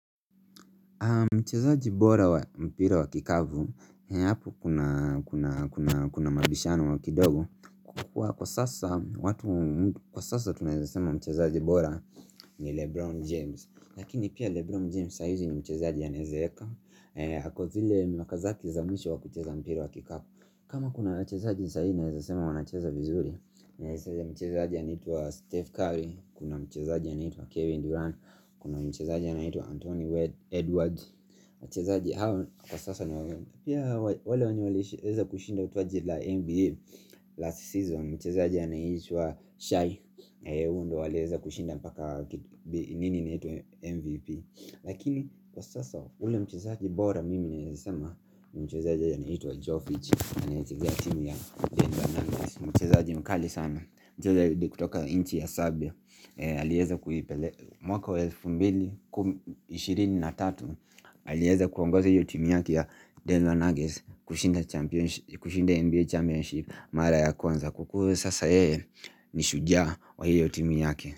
Mchezaji bora wa mpira wa kikapu, hapo kuna kuna mabishano kidogo kwa kuwa kwa sasa watu kwa sasa tunaeza sema mchezaji bora ni LeBron James lakini pia LeBron james saa hizi ni mchezaji anaweza eka. Ako zile miaka zake za mwisho wa kucheza mpira wa kikapu. Kama kuna wachezaji sahii naeza sema wanacheza vizuri. Kuna mchezaji anaitwa Steph Curry. Kuna mchezaji anaitwa Kevin Durant. Kuna mchezaji anaitwa Anthony Edwards waji. Mchezaji hawa kwa sasa wale wenye waliweza kushinda taji la NBA last season mchezaji anayeitwa shy waliweza kushinda mpaka nini inaitwa MVP lakini kwa sasa ule mchezaji bora mimi naeza sema mchezaji anaitwa Joe Fitch anayeichezea timu ya mchezaji mkali sana. Mchezaji kutoka inchi ya Serbia. Aliweza kuipele mwaka wa elfu mbili ishirini na tatu alieza kuonguza hiyo timu yake ya Denver Nuggets kushinda champions kushinda NBA championship mara ya kwanza kwa kuwa sasa yeye ni shujaaa wa hiyo timu yake.